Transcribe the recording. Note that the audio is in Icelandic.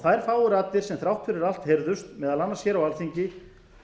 þær fáu raddir sem þrátt fyrir allt heyrðust meðal annars hér á alþingi